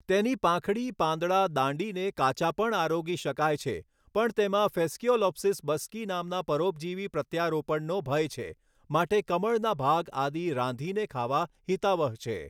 તેની પાંખડી પાંદડા દાંડીને કાચા પણ આરોગી શકાય છે પણ તેમાં ફેસ્કીઓલોપ્સીસ બસ્કી નામના પરોપજીવી પ્રત્યારોપણનો ભય છે માટે કમળના ભાગ આદિ રાંધીને ખાવા હિતાવહ છે.